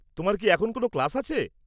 তোমার কি এখন কোনও ক্লাস আছে?